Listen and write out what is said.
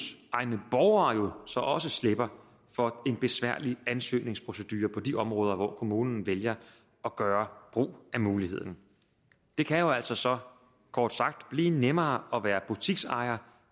egne borgere jo så også slipper for en besværlig ansøgningsprocedure på de områder hvor kommunen vælger at gøre brug af muligheden det kan jo altså så kort sagt blive nemmere at være butiksejer